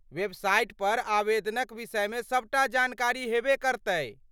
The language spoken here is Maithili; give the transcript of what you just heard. वेबसाइट पर आवेदनक विषयमे सभ टा जानकारी हेबे करतै।